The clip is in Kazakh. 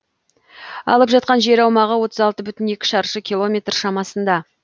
алып жатқан жер аумағы отыз алты бүтін екі шаршы километр шамасында